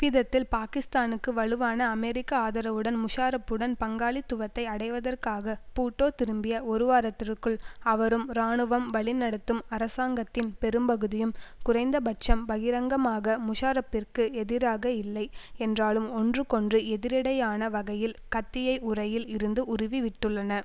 இவ்விதத்தில் பாக்கிஸ்தானுக்கு வலுவான அமெரிக்க ஆதரவுடன் முஷாரஃப்புடன் பங்காளித்துவத்தை அடைவதற்காக பூட்டோ திரும்பிய ஒருவாரத்திற்குள் அவரும் இராணுவம் வழி நடத்தும் அரசாங்கத்தின் பெரும்பகுதியும் குறைந்த பட்சம் பகிரங்கமாக முஷாரஃப்பிற்கு எதிராக இல்லை என்றாலும் ஒன்றுக் கொன்று எதிரிடையான வகையில் கத்தியை உறையில் இருந்து உருவி விட்டுள்ளன